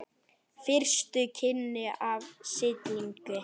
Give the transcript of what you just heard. Fyrstu kynni af silungi